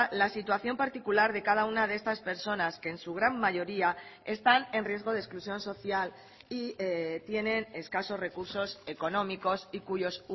la situación particular de cada una de estas personas que en su gran mayoría están en riesgo de exclusión social y tienen escasos recursos económicos y cuyos